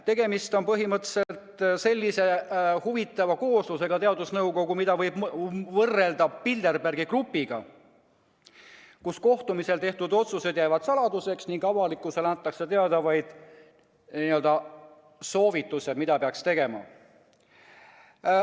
Tegemist on põhimõtteliselt sellise huvitava kooslusega, mida võib võrrelda Bilderbergi grupiga, mille kohtumistel tehtud otsused jäävad saladuseks ning avalikkusele antakse teada vaid n-ö soovitused, mida peaks tegema.